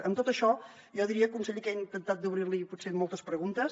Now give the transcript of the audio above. amb tot això jo diria conseller que he intentat d’obrir li potser moltes preguntes